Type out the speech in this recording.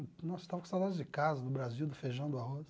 Nossa estava com saudades de casa, do Brasil, do feijão, do arroz.